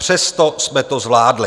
Přesto jsme to zvládli.